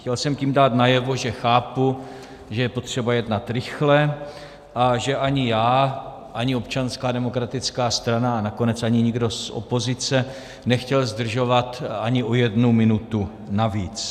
Chtěl jsem tím dát najevo, že chápu, že je potřeba jednat rychle a že ani já, ani Občanská demokratická strana a nakonec ani nikdo z opozice nechtěl zdržovat ani o jednu minutu navíc.